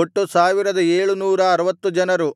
ಒಟ್ಟು ಸಾವಿರದ ಏಳು ನೂರ ಅರವತ್ತು ಜನರು